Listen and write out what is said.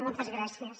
moltes gràcies